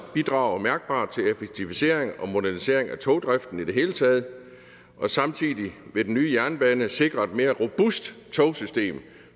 bidrage mærkbart til effektivisering og modernisering af togdriften i det hele taget og samtidig vil den nye jernbane sikre et mere robust togsystem